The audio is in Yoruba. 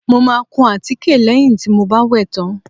Mo máa kun àtíkè lẹ́yìn tí mo bá wẹ̀ tán